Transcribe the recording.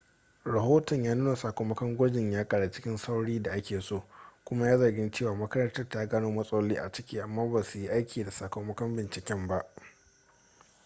rahoton ya nuna sakamakon gwajin ya karu cikin saurin da ake so kuma ya yi zargin cewa makarantar ta gano matsaloli a ciki amma ba su yi aiki da sakamakon binciken ba